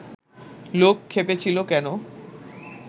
লোক ক্ষেপেছিল কেন